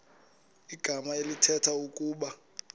igama elithetha ukuba